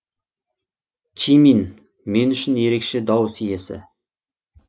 чимин мен үшін ерекше дауыс иесі